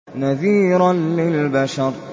نَذِيرًا لِّلْبَشَرِ